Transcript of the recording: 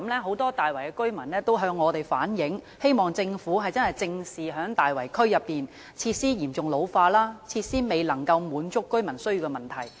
很多大圍居民曾向我們反映，希望政府正視大圍區內設施嚴重老化及設施未能滿足居民需要的問題。